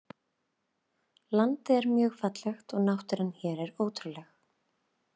Landið er mjög fallegt og náttúran hér er ótrúleg.